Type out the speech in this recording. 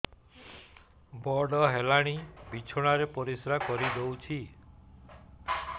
ବଡ଼ ହେଲାଣି ବିଛଣା ରେ ପରିସ୍ରା କରିଦେଉଛି